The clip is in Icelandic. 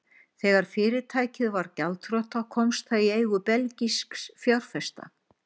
Þegar fyrirtækið varð gjaldþrota komst það í eigu belgískra fjárfesta.